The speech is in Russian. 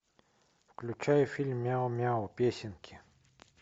включай фильм мяу мяу песенки